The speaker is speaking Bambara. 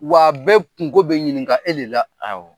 Wa bɛɛ kungo bɛ ɲininka e le la; Awɔ